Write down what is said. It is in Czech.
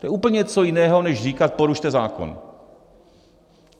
To je úplně něco jiného než říkat porušte zákon.